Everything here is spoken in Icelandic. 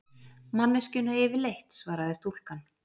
Manneskjuna yfirleitt, svaraði stúlkan.